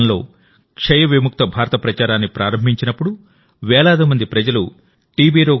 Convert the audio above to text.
గతంలో టీబీ విముక్త భారత ప్రచారాన్ని ప్రారంభించినప్పుడువేలాది మంది ప్రజలుటి